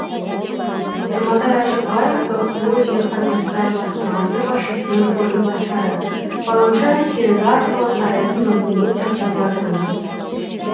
жұматай ашықбаев бқо жер қатынастары басқармасы басшысының орынбасары ғаламшар серігі арқылы қарайтын мүмкіндік жасап жатырмыз